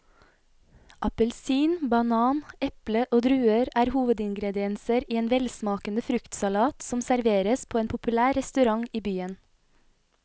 Appelsin, banan, eple og druer er hovedingredienser i en velsmakende fruktsalat som serveres på en populær restaurant i byen.